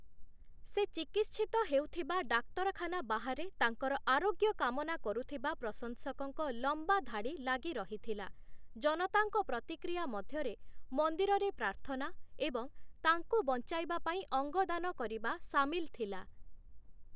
ସେ ଚିକିତ୍ସିତ ହେଉଥିବା ଡାକ୍ତରଖାନା ବାହାରେ ତାଙ୍କର ଆରୋଗ୍ୟ କାମନା କରୁଥିବା ପ୍ରଶଂସକଙ୍କ ଲମ୍ବା ଧାଡ଼ି ଲାଗିରହିଥିଲା, ଜନତାଙ୍କ ପ୍ରତିକ୍ରିୟା ମଧ୍ୟରେ ମନ୍ଦିରରେ ପ୍ରାର୍ଥନା ଏବଂ ତାଙ୍କୁ ବଞ୍ଚାଇବା ପାଇଁ ଅଙ୍ଗଦାନ କରିବା ସାମିଲ ଥିଲା ।